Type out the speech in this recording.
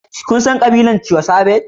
Kun san ƙabilar Tiwa Savage?